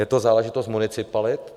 Je to záležitost municipalit.